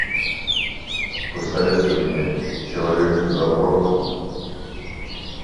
посоветуй мне человек за бортом